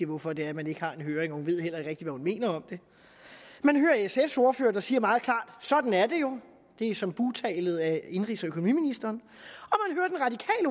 hvorfor det er at man ikke har en høring og hun ved heller ikke rigtig hvad hun mener om det man hører sfs ordfører der siger meget klart sådan er det jo det er som bugtalet af indenrigs og økonomiministeren